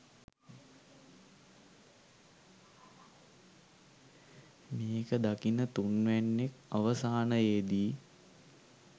මේක දකින තුන්වැන්නෙක් අවසානයේදි